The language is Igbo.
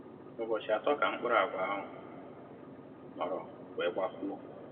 Ụbọchị atọ ka mkpụrụ agwa ahụ nọrọ wee gbapuo